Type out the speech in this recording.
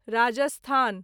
Rajasthan